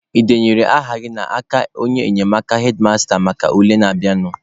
Ị denyere aha gị n'aka onye enyemaka hedmasta maka ule na-abịanụ?